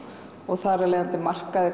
þar afleiðandi markaði